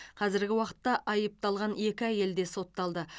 қазіргі уақытта айыпталған екі әйел де сотталды